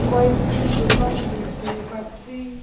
কয়েকটি দোকান দেখতে পাচ্ছি।